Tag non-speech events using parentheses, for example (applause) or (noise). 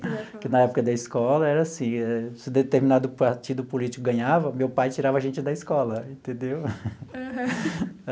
Que na época da escola era assim, se determinado partido político ganhava, meu pai tirava a gente da escola, entendeu? (laughs)